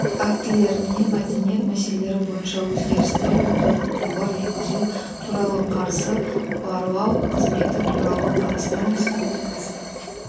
актілеріне мәдениет мәселелері бойынша өзгерістер мен толықтырулар енгізу туралы қарсы барлау қызметі туралы қазақстан республикасы